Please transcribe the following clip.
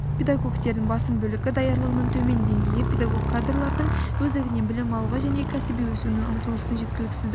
педагогтердің басым бөлігі даярлығының төмен деңгейі педагог кадрлардың өздігінен білім алуға және кәсіби өсуіне ұмтылысының жеткіліксіздігі